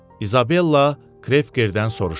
İzabella Krekkerdən soruşdu.